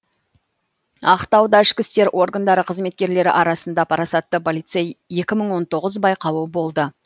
ақтауда ішкі істер органдары қызметкерлері арасында парасатты полицей екі мың он тоғыз байқауы болды